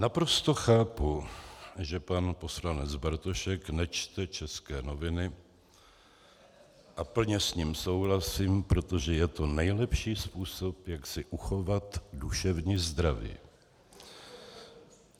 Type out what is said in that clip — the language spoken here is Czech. Naprosto chápu, že pan poslanec Bartošek nečte české noviny, a plně s ním souhlasím, protože je to nejlepší způsob, jak si uchovat duševní zdraví.